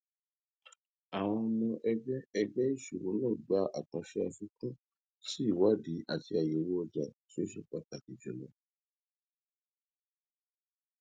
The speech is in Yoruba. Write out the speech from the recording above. àwọn ọmọ ẹgbẹ ẹgbẹ ìsòwò náà gba àkànṣe àfikún sí ìwádìí àti àyèwò ọjà tí ó ṣe pàtàkì jùlọ